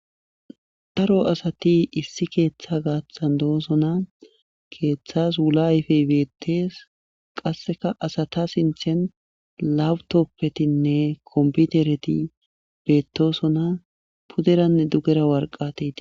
Daro asati issi keeththa gaaththan doosona keeththas wula ayfey beettees qasseka asata sinthen lapitoppetinne kompitereti beettosona puderanne duggera warqatay de'ees